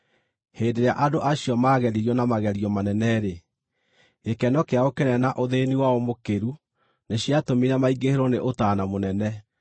Hĩndĩ ĩrĩa andũ acio maageririo na magerio manene-rĩ, gĩkeno kĩao kĩnene na ũthĩĩni wao mũkĩru nĩciatũmire maingĩhĩrwo nĩ ũtaana mũnene.